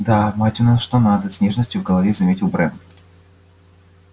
да мать у нас что надо с нежностью в голове заметил брент